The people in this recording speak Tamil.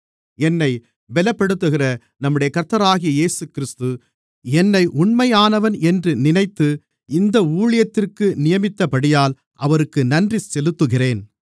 என்னைப் பலப்படுத்துகிற நம்முடைய கர்த்தராகிய இயேசுகிறிஸ்து என்னை உண்மையானவன் என்று நினைத்து இந்த ஊழியத்திற்கு நியமித்தபடியால் அவருக்கு நன்றி செலுத்துகிறேன்